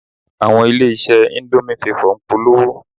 Àwọn ilé-iṣẹ́ indomie favor ń polówó